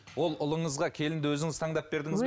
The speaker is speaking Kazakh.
ол ұлыңызға келінді өзіңіз таңдап бердіңіз бе